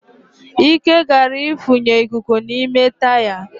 Ike gara ifunye ikuku n'ime taya